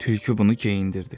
Tülkü bunu geyindirdi.